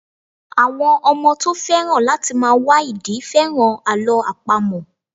Àwọn ọmọ tó féràn láti máa wá ìdí féràn Àlọ́ àpamọ̀.